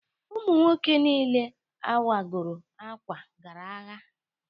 Ụmu nwoke nille awagọro akwa gara agha.